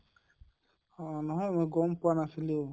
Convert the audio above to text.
অহ নহয় মই গম পোৱা নাছিলো